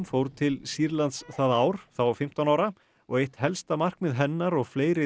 fór til Sýrlands það ár þá fimmtán ára og eitt helsta markmið hennar og fleiri